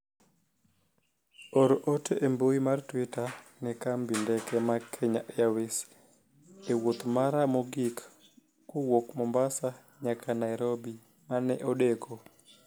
or ote e mbui mar twita ne kambi ndeke ma kenya airways e wuoth mara mogik kowuok Mombasa nyaka Nairobi mane odeko